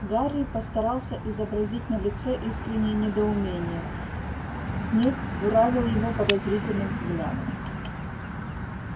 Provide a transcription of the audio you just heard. гарри постарался изобразить на лице искреннее недоумение снег буравил его подозрительным взглядом